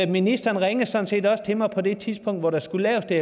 ministeren ringede sådan set også til mig på det tidspunkt hvor der skulle laves det